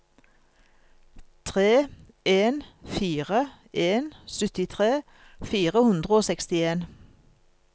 tre en fire en syttitre fire hundre og sekstien